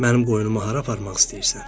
Mənim qoyunumu hara aparmaq istəyirsən?